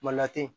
Mali la ten